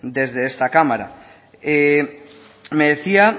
desde esta cámara me decía